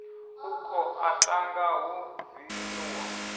u koḓa thanga hu vinyuwa